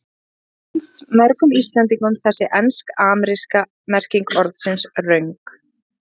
Líklega finnst mörgum Íslendingum þessi ensk-ameríska merking orðsins röng.